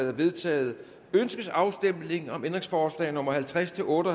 er vedtaget ønskes afstemning om ændringsforslag nummer halvtreds til otte